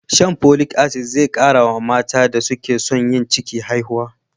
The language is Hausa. Shan Folic Asidic zai kara wa matan da suke son yin ciki haihuwa.